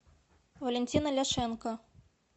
валентина ляшенко